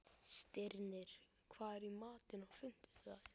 Stirnir, hvað er í matinn á fimmtudaginn?